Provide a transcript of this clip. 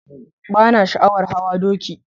Bana sha'awar hawa doki.